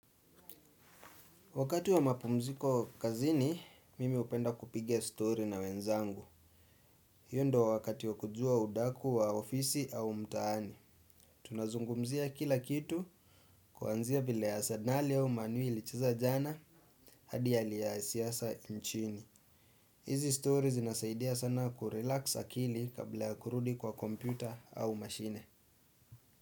Wakati wa mapumziko kazini, mimi hupenda kupiga story na wenzangu. Hiyo ndo wakati wa kujua udaku wa ofisi au mtaani. Tunazungumzia kila kitu kuanzia vile asenali au man u ilicheza jana hadi hali ya siasa nchini. Hizi stories zinasaidia sana kurelax akili kabla ya kurudi kwa kompyuta au mashine.